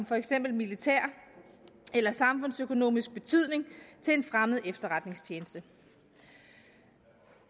for eksempel militær eller samfundsøkonomisk betydning til en fremmed efterretningstjeneste